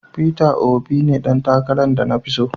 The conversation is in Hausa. Peter Obi ne dan takaran de na fi tso.